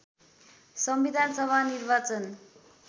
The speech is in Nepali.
संविधान सभा निर्वाचन